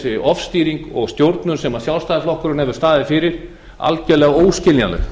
er þessi ofstýring og stjórnin sem sjálfstæðisflokkurinn hefur staðið fyrir algerlega óskiljanleg